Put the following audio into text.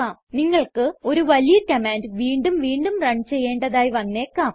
നിങ്ങൾക്ക് ഒരു വലിയ കമാൻഡ് വീണ്ടും വീണ്ടും റൺ ചെയ്യേണ്ടതായി വന്നേക്കാം